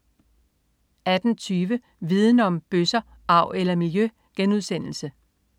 18.20 Viden Om: Bøsser, arv eller miljø?*